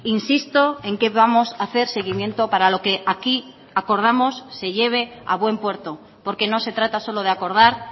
insisto en que vamos a hacer seguimiento para lo que aquí acordamos se lleve a buen puerto porque no se trata solo de acordar